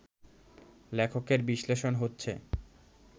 লেখকের বিশ্লেষণ হচ্ছে